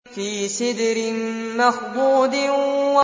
فِي سِدْرٍ مَّخْضُودٍ